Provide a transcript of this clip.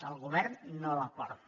el govern no la porta